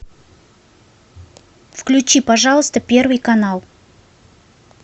включи пожалуйста первый канал